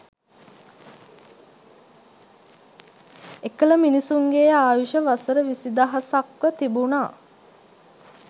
එකල මිනිසුන්ගේ ආයුෂ වසර විසිදහසක්ව තිබුණා